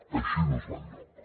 així no es va enlloc